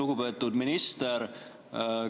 Lugupeetud minister!